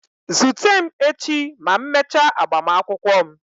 Zute m echi ma m mechaa agbamakwụkwọ m.